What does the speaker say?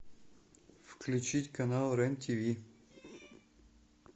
включить канал рен тв